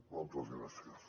moltes gràcies